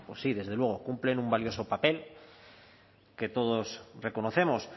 pues sí desde luego cumplen un valioso papel que todos reconocemos